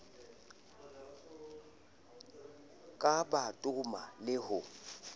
ka ba toma le ho